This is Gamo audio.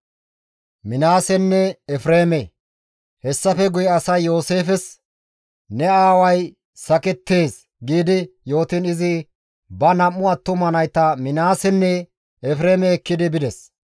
Hessafe guye asay Yooseefes, «Ne aaway sakettees» gi yootiin izi ba nam7u attuma nayta Minaasenne Efreeme ekki bides.